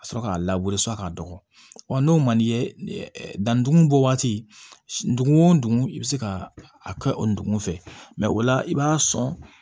Ka sɔrɔ k'a labure su a ka dɔgɔ wa n'o man di ye dannidugun bɔ waati o dugu i bɛ se ka a kɛ o dugu fɛ o la i b'a sɔn